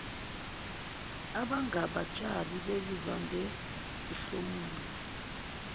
abangabatshali bezivande bahlomula